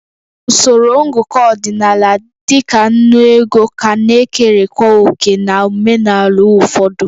Usoro ngụkọ ọdịnala dị ka ńnú ego ka na-ekerekwa òkè na omenala ụfọdụ